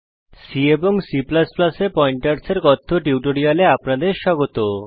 C এবং C এ pointers এর কথ্য টিউটোরিয়ালে আপনাদের স্বাগত